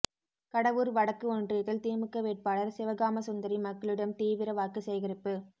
கடவூர் வடக்கு ஒன்றியத்தில் திமுக வேட்பாளர் சிவகாமசுந்தரி மக்களிடம் தீவிர வாக்கு சேகரிப்பு